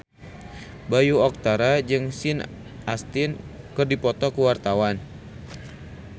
Bayu Octara jeung Sean Astin keur dipoto ku wartawan